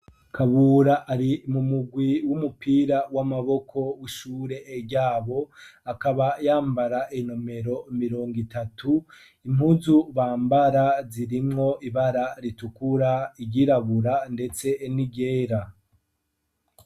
Kabura ari mu murwi w'umupira w'amaboko w'ishure ryabo akaba yambara inomero mirongo itatu impuzu bambara zirimwo ibara ritukura iryirabura ndetse n'iryera.